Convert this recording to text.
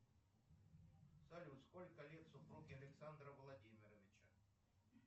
салют сколько лет супруге александра владимировича